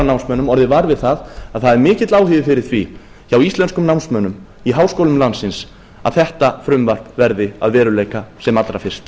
námsmönnum orðið var við að það er mikill áhugi fyrir því hjá íslenskum námslánum í háskólum landsins að þetta frumvarp verði að veruleika sem allra fyrst